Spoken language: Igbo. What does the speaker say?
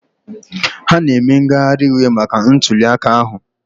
Ha na-eme ngagharị iwe maka ntuliaka ahụ?